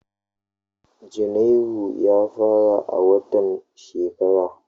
Janairu ya fara a watan shekara.